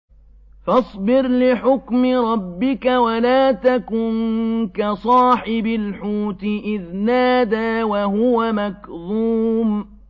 فَاصْبِرْ لِحُكْمِ رَبِّكَ وَلَا تَكُن كَصَاحِبِ الْحُوتِ إِذْ نَادَىٰ وَهُوَ مَكْظُومٌ